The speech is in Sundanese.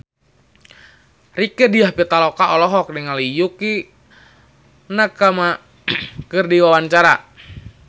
Rieke Diah Pitaloka olohok ningali Yukie Nakama keur diwawancara